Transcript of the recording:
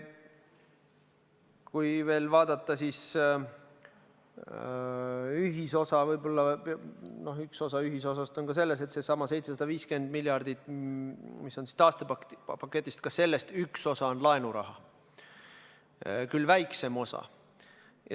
Kui veel vaadata ühisosa, siis ka sellestsamast 750 miljardist, mis on taastepaketis, üks osa on laenuraha, küll väiksem osa.